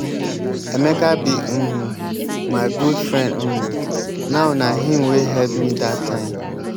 emeka be um my good friend um now na him wey help me dat time.